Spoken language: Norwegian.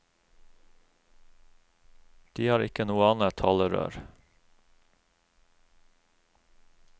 De har ikke noe annet talerør.